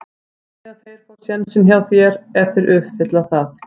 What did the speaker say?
Þannig að þeir fá sénsinn hjá þér ef þeir uppfylla það?